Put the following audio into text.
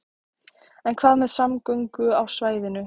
En hvað með samgöngur á svæðinu?